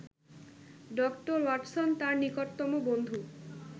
doctor Watson তাঁর নিকটতম বন্ধু